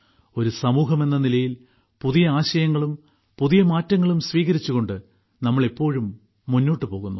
ഒരു സമൂഹമെന്ന നിലയിൽ പുതിയ ആശയങ്ങളും പുതിയ മാറ്റങ്ങളും സ്വീകരിച്ചുകൊണ്ട് നാം എപ്പോഴും മുന്നോട്ട് പോകുന്നു